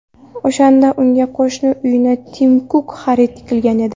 O‘shanda unga qo‘shni uyni Tim Kuk xarid qilgan edi.